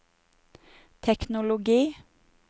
teknologi